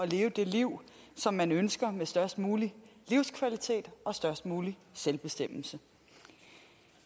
leve det liv som man ønsker med størst mulig livskvalitet og størst mulig selvbestemmelse